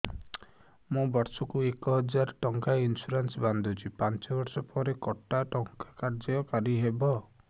ମୁ ବର୍ଷ କୁ ଏକ ହଜାରେ ଟଙ୍କା ଇନ୍ସୁରେନ୍ସ ବାନ୍ଧୁଛି ପାଞ୍ଚ ବର୍ଷ ପରେ କଟା ଟଙ୍କା କାର୍ଯ୍ୟ କାରି ହେବ